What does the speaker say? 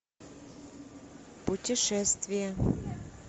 путешествие